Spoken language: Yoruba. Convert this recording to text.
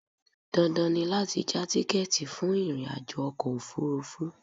Dandan ni láti já tíkẹ́ẹ̀tì fún ìrìnàjò ọkọ̀ òfurufú